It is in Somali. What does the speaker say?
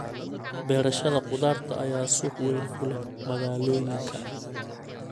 Beerashada khudaarta ayaa suuq weyn ku leh magaalooyinka.